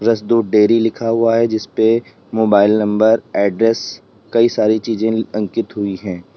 रस दूध डेयरी लिखा हुआ है जिसपे मोबाइल नंबर एड्रेस कई सारी चीज अंकित हुई हैं।